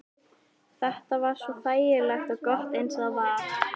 Þetta var svo þægilegt og gott eins og það var.